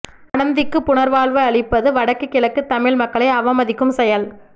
அனந்திக்கு புனர்வாழ்வு அளிப்பது வடக்கு கிழக்கு தமிழ் மக்களை அவமதிக்கும் செயல்